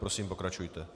Prosím, pokračujte.